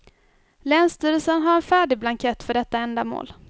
Länsstyrelsen har en färdig blankett för detta ändamål.